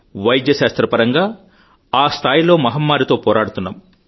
వైద్య శాస్త్ర స్థాయిలో మహమ్మారితో పోరాడుతున్నాం